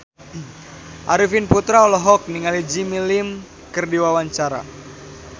Arifin Putra olohok ningali Jimmy Lin keur diwawancara